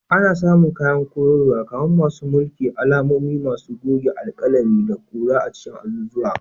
Ana samun kayan koyarwa kamar masu mulki, alamomi, masu gogewa, alƙalami, da kura a cikin azuzuwa.